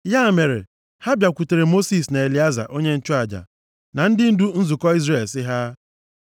Ya mere, ha bịakwutere Mosis na Elieza onye nchụaja, na ndị ndu nzukọ Izrel, sị ha,